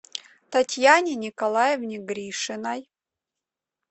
татьяне николаевне гришиной